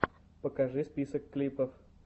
покажи список клипов